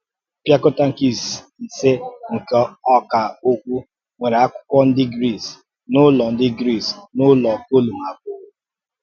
Mpịàkọ̀tà nke ìsè nke Ọkà Okwú nwere akwụkwọ ndị Gris n’ụlọ ndị Gris n’ụlọ kọlụm ábụ̀ọ̀.